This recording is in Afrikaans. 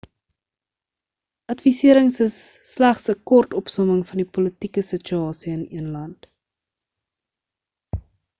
adviserings is slegs 'n kort opsomming van die politieke situasie in een land